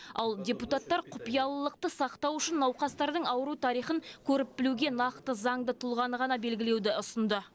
ал депутаттар құпиялылықты сақтау үшін науқастардың ауру тарихын көріп білуге нақты заңды тұлғаны ғана белгілеуді ұсынды